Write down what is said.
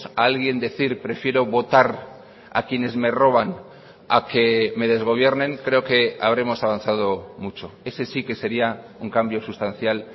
a alguien decir prefiero votar a quienes me roban a que me desgobiernen creo que habremos avanzado mucho ese sí que sería un cambio sustancial